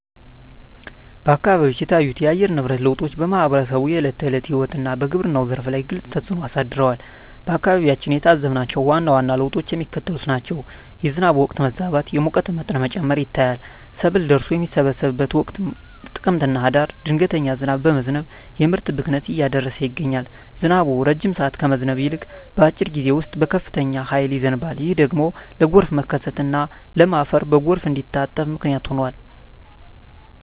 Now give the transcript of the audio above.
አካባቢዎች የታዩት የአየር ንብረት ለውጦች በማኅበረሰቡ የዕለት ተዕለት ሕይወትና በግብርናው ዘርፍ ላይ ግልጽ ተፅእኖ አሳድረዋል። በአካባቢያችን የታዘብናቸው ዋና ዋና ለውጦች የሚከተሉት ናቸው፦ የዝናብ ወቅት መዛባት፣ የሙቀት መጠን መጨመር ይታያል። ሰብል ደርሶ በሚሰበሰብበት ወቅት (ጥቅምትና ህዳር) ድንገተኛ ዝናብ በመዝነብ የምርት ብክነትን እያደረሰ ይገኛል። ዝናቡ ረጅም ሰዓት ከመዝነብ ይልቅ፣ በአጭር ጊዜ ውስጥ በከፍተኛ ኃይል ይዘንባል። ይህ ደግሞ ለጎርፍ መከሰትና ለም አፈር በጎርፍ እንዲታጠብ ምክንያት ሆኗል።